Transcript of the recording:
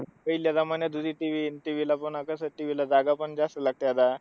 पहिल्या होती TV, TV ला पण कसं जागा पण जास्तं जागा लागते आता